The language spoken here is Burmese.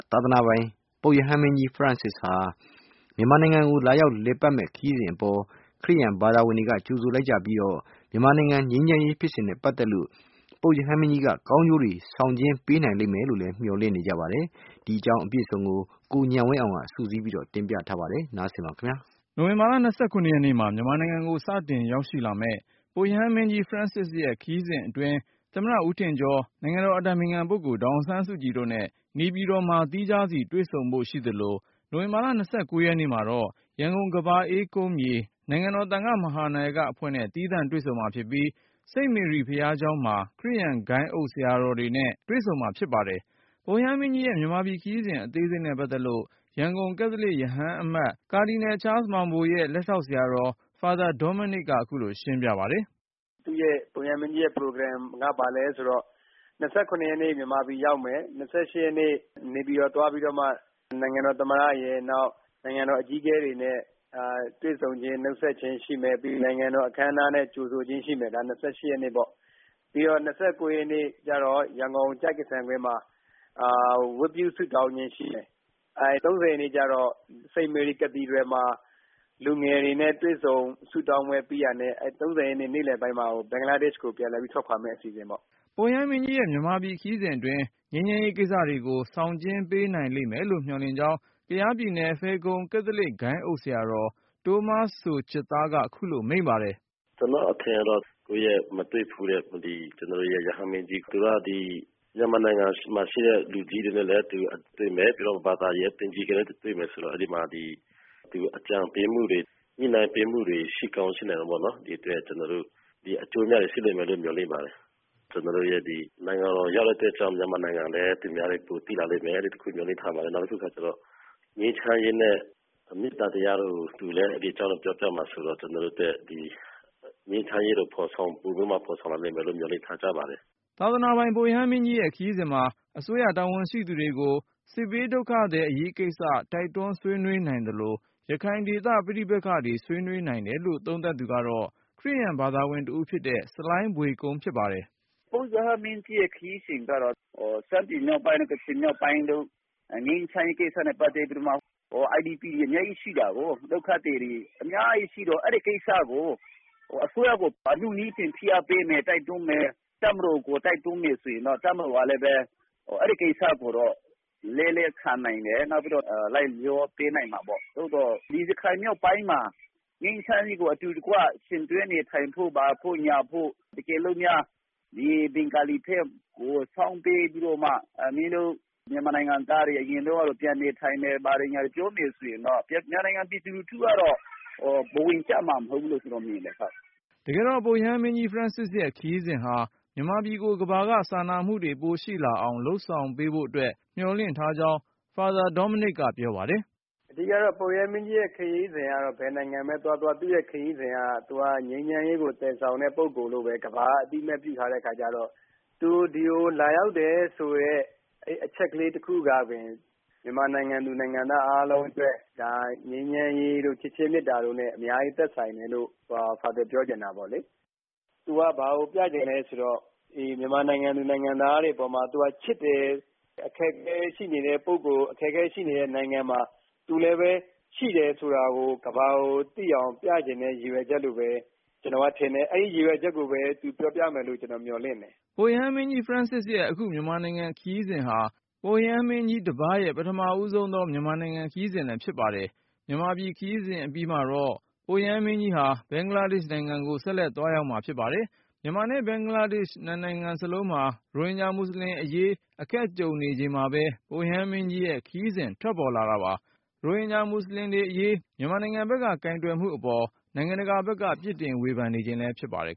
သာသနာပိုင် ပုပ်ရဟန်းမင်းကြီး Francis မြန်မာနိုင်ငံကို လာရောက်လည်ပတ်မယ့်ခရီးစဉ်အပေါ် ခရစ်ယာန် ဘာသာဝင်တွေက ကြိုဆိုလိုက်ကြပြီး မြန်မာနိုင်ငံငြိမ်းချမ်းရေး ဖြစ်စဉ်နဲ့ပတ်သက်လို့ ပုပ်ရဟန်းမင်းကြီးက ကောင်းကျိုးတွေ ဆောင်ကျဉ်းပေး နိုင်လိမ့်မယ်လို့ မျှော်လင့်နေကြပါတယ်။ ဒီအကြောင်း ကိုဉာဏ်ဝင်းအောင်က စုစည်းတင်ပြထားပါတယ်။ နိုဝင်ဘာလ ၂၇ ရက်နေ့မှာ မြန်မာနိုင်ငံကို စတင်ရောက်ရှိလာမယ့် ပုပ်ရဟန်းမင်းကြီး Francis ရဲ့ ခရီးစဉ်အတွင် သမ္မတ ဦးထင်ကျော်၊ နိုင်ငံတော် အတိုင်ပင်ခံပုဂ္ဂိုလ် ဒေါ်အောင် ဆန်းစုကြည်တို့နဲ့ နေပြည်တော်မှာ သီးခြားစီတွေ့ဆုံဖို့ ရှိသလို၊ နိုဝင်ဘာလ ၂၉ ရက်နေ့ မှာတော့ ရန်ကုန် ကမ္ဘာအေးကုန်းမြေ နိုင်ငံတော် သံဃမဟာနာယက အဖွဲ့နဲ့ သီးသန့်တွေ့ ဆုံမှာဖြစ်ပြီး စိန့်မေရီ ဘုရားကျောင်းမှ ခရစ်ယာန် ဂိုဏ်းအုပ် ဆရာတော်တွေနဲ့ တွေ့ဆုံမှာ ဖြစ်ပါတယ်။ ပုပ်ရဟန်းမင်းကြီးရဲ့ မြန်မာပြည်ခရီးစဉ် အသေးစိတ်နဲ့ပတ်သက်လို့ ရန်ကုန် ကက်သလစ် ရဟန်းအမတ် ကာဒီနယ် ချားလ်စ်မောင်ဘိုရဲ့ လက်ထောက် ဆရာတော် Father Dominic ကခုလိုရှင်းပြပါတယ်။ “ပုပ်ရဟန်းမင်းကြီးရဲ့ခရီးစဉ်က ဘာလဲဆိုတော့ ၂၇ ရက်နေ့ မြန်မာပြည်ရောက်မယ်၊ ၂၈ ရက်နေ့ နေပြည်တော် သွားပြီးတော့မှ နိုင်ငံတော်သမ္မတရယ်၊ နောက် နိုင်ငံတော်အကြီး အကဲတွေနဲ့ တွေ့ဆုံခြင်း၊ နှုတ်ဆက်ခြင်းရှိမယ်။ နိုင်ငံတော်အခမ်းအနားနဲ့ကြိုဆိုခြင်းရှိမယ်၊ ဒါက ၂၈ ရက်နေ့။ ၂၉ ရက်နေ့ကျတော့ ရန်ကုန် ကျိုက္ကဆံကွင်းမှာ ဝတ်ပြုဆုတောင်းခြင်း ရှိမယ်။ ၃၀ ရက်နေ့ကျတော့ St. Mary Cathedral မှာ လူငယ်တွေနဲ့ တွေ့ဆုံ ဆုတောင်းပွဲပြီးတာနဲ့ နေ့လည်ပိုင်းမှာ ဘင်္ဂလားဒက်ရှ်ကို ပြန်လည်ထွက်ခွာမယ့်အစီအစဉ်ပေါ့။” ပုပ်ရဟန်းမင်းကြီးရဲ့ မြန်မာပြည်ခရီးစဉ်အတွင်း ငြိမ်းချမ်းရေးကိစ္စတွေကို ဆောင်ကျဉ်း ပေးနိုင်လိမ့်မယ်လို့ မျှော်လင့်ကြောင်း ကယားပြည်နယ် ဖယ်ခုံ ကက်သလစ်ဂိုဏ်းအုပ် ဆရာတော် တိုးမားစိုချစ်သားက ခုလိုမိန့်ပါတယ်။ “ကျနော့်အထင်ကတော့ မတွေ့ဘူးတဲ့ ကျနော်တို့ရဲ့ရဟန်းမင်းကြီး၊ သူက မြန်မာနိုင်ငံမှာ ရှိတဲ့လူကြီးတွေနဲ့လည်းတွေ့မယ်၊ ပြီးတော့ ဘာသာရေးအသင်းကြီးနဲ့လည်းတွေ့မယ် ဆိုတော့ အကြံပေးမှုတွေ၊ ညှိနှိုင်းပေးမှုတွေ ရှိကောင်းရှိမှာပေါ့နော်၊ ဒီအတွက် ကျနော်တို့ အကျိုးအမြတ်တွေ ရှိလိမ့်မယ်လို့ မျှော်လင့်ပါတယ်။ မြန်မာနိုင်ငံကို ရောက်လာတဲ့ အတွက်ကြောင့် မြန်မာနိုင်ငံကိုလည်း သူများတွေ ပိုသိလာလိမ့်မယ်လို့ မျှော်လင့်ပါတယ်။ နောက်တခုကကျတော့ ငြိမ်းချမ်းရေးနဲ့ မေတ္တာတရားတို့ကို သူလည်း ဒီအကြောင်းတွေ ပြောပြမှာဆိုတော့ ကျနော်တို့အတွက် ငြိမ်းချမ်းရေးကို ပိုပြီးတော့မှဖော်ဆောင်လာနိုင်မယ် လို့ မျှော်လင့်ပါတယ်။” သာသနာပိုင် ပုပ်ရဟန်းမင်းကြီးရဲ့ ခရီးစဉ်မှာ အစိုးရတာဝန်ရှိသူတွေကို စစ်ဘေးဒုက္ခသည် အရေးကိစ္စ တိုက်တွန်း ဆွေးနွေးနိုင်သလို ရခိုင်ဒေသ ပဋိပက္ခတွေ ဆွေးနွေးနိုင်တယ်လို့ သုံးသပ်သူက ခရစ်ယာန်ဘာသာဝင်တဦးဖြစ်တဲ့ ဆလိုင်းဘွေကုန်း ဖြစ်ပါတယ်။ “ပုပ်ရဟန်းမင်းကြီးရဲ့ခရီးစဉ်ကတော့ ရှမ်းပြည်မြောက်ပိုင်းတို့၊ ကချင်မြောက်ပိုင်းတို့မှာ ငြိမ်းချမ်းရေးကိစ္စနဲ့ ပတ်သက်ပြီးတော့မှ IDP တွေ အများကြီးရှိတာကိုး။ ဒုက္ခသည်တွေ အများကြီးရှိတော့ အဲဒီကိစ္စကို အစိုးရကို အနုနည်းဖြင့် ဖိအားပေးမယ်၊ တိုက်တွန်းမယ်၊ တပ်မတော်ကို တိုက်တွန်းမယ်၊ တပ်မတော်ကလည်းပဲ အဲဒီကိစ္စကို လက်လည်း ခံနိုင်တယ်၊ နောက်ပြီးတော့ လိုက်လျောပေးနိုင်မှာပေါ့။ သို့သော် ရခိုင်မြောက်ပိုင်းမှာ ငြိမ်းချမ်းရေးကို အတူတကွ ယှဉ်တွဲနေထိုင်ဖို့၊ ဘာဖို့၊ ညာဖို့ တကယ်လို့များ ဒီ ဘင်္ဂါလီဘက်ကို စောင်းပေးပြီးတော့မှ ‘မင်းတို့ မြန်မာနိုင်ငံသားတွေ အရင်တုန်းကလို ပြန်နေထိုင်မယ်၊ ဘာတွေ ညာတွေ ’ - ပြောမယ်ဆိုရင်တော့ မြန်မာနိုင်ငံ ပြည်သူလူထု ကတော့ ဘဝင်ကျမှာမဟုတ်ဘူးလို့ ကျနော်မြင်တယ်။” တကယ်တော့ ပုပ်ရဟန်းမင်းကြီး Francis ရဲ့ခရီးစဉ်ဟာ မြန်မာကို ကမ္ဘာက စာနာမှုတွေ ပိုရှိလာအောင် လုပ်ဆောင်ပေးဖို့အတွက် မျှော်လင့် ထားကြောင်း Father Dominic ကပြောပါတယ်။ “အဓိကကတော့ ပုပ်ရဟန်းမင်းကြီးရဲ့ခရီးစဉ်ကတော့ ဘယ်နိုင်ငံပဲသွားသွား သူက ငြိမ်းချမ်းရေးကိုသယ်ဆောင်တဲ့ ပုဂ္ဂိုလ်လို့ပဲ ကမ္ဘာက အသိအမှတ်ပြုထားတဲ့အခါကျတော့ သူဒီကို လာရောက်တယ်ဆိုတဲ့အချက်ကလေး တခုကပင် မြန်မာနိုင်ငံသူ၊ နိုင်ငံသား အားလုံး အတွက် ငြိမ်းချမ်းရေးတို့၊ ချစ်ခြင်းမေတ္တာတို့နဲ့ အများကြီးသက်ဆိုင်တယ်လို့ ဖာသာပြောချင်တာပေါ့လေ။ သူက ဘာကိုပြချင်လဲဆိုတော့ မြန်မာနိုင်ငံသူ နိုင်ငံသားတွေအပေါ်မှာ သူက ချစ်တယ်၊ အခက်အခဲရှိနေတဲ့ပုဂ္ဂိုလ်၊ အခက်အခဲရှိနေတဲ့ နိုင်ငံမှာ သူလည်းပဲရှိတယ်ဆိုတာကို ကမ္ဘာကိုသိအောင် ပြချင်တဲ့ရည်ရွယ်ချက်လို့ပဲ ကျနော်ကထင်တယ်။ အဲဒီရည်ရွယ်ချက်ကိုပဲ သူ ပြောပြမယ်လို့ ကျနော် မျှော်လင့်တယ်။” ပုပ်ရဟန်းမင်းကြီး Francis ရဲ့ အခု မြန်မာနိုင်ငံ ခရီးစဉ်က ပုပ်ရဟန်းမင်းကြီး တပါးရဲ့ ပထမဆုံးသော မြန်မာနိုင်ငံ ခရီးစဉ် ဖြစ်ပါတယ်။ မြန်မာ ခရီးစဉ် အပြီးမှာတော့ ပုပ်ရဟန်း မင်းကြီးက ဘင်္ဂလားဒေရှ့် နိုင်ငံကို ဆက်လက်သွားရောက်မှာ ဖြစ်ပါတယ်။ မြန်မာနဲ့ ဘင်္ဂလားဒေရှ့် နှစ်နိုင်ငံ စလုံးမှာ ရိုဟင်ဂျာ မူဆလင်အရေး အခက်ကြုံနေရချိန်မှာပဲ ပုပ်ရဟန်းမင်းကြီးရဲ့ ခရီးစဉ် ထွက်ပေါ်လာတာပါ။ ရိုဟင်ဂျာ မူဆလင်တွေအရေး မြန်မာနိုင်ငံ ဘက်က ကိုင်တွယ်မှုအပေါ် နိုင်ငံတကာဘက်က ပြစ်တင်ဝေဖန်နေချိန်လည်း ဖြစ်ပါတယ်